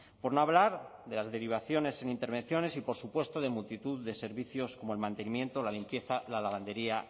por no hablar de las derivaciones en intervenciones y por supuesto de multitud de servicios como el mantenimiento la limpieza la lavandería